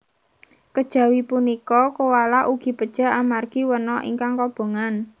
Kejawi punika koala ugi pejah amargi wana ingkang kobongan